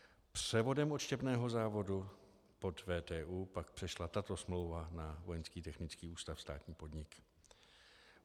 Převodem odštěpného závodu pod VTÚ pak přešla tato smlouva na Vojenský technický ústav, státní podnik.